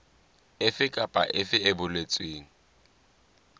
efe kapa efe e boletsweng